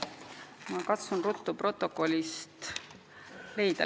Ma katsun ruttu protokollist leida.